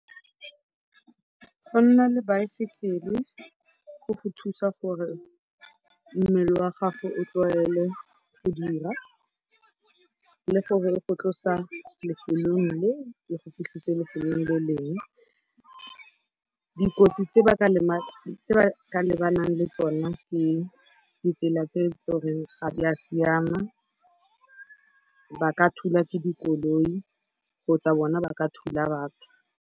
Go nna le baesekele go go thusa gore mmele wa gago o tlwaele go dira le gore e go tlosa lefelong le e go fitlhisa lefelong le leng. Dikotsi tse ba ka lebanang le tsone ke ditsela tse tlo reng ga di a siama, ba ka thulwa ke dikoloi kgotsa bona ba ka thula batho.